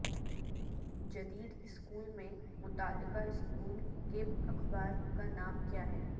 جدید اسکول میں متعلقہ اسکول کے اخبار کا نام کیا ہے